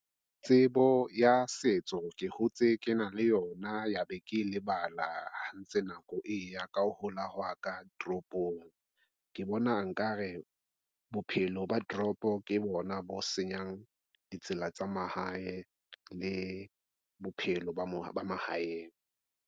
Tsebo ya setso ke hotse ke na le yona ya be ke lebala ha ntse nako e ya ka ho hola hwa ka toropong ke bona nkare bophelo ba toropo ke bona bo senyang ditsela tsa mahae le bophelo ba mahaeng.